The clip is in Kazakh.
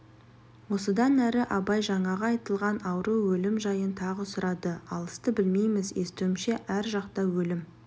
осыдан әрі абай жаңағы айтылған ауру өлім жайын тағы сұрады алысты білмейміз естуімше ар жақта өлім